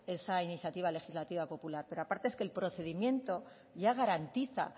esa iniciativa legislativa popular pero aparte es que el procedimiento ya garantiza